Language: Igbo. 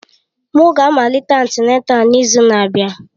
M ga-amalite antịnátál n'izu na-abịa.